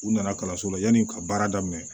U nana kalanso la yanni u ka baara daminɛ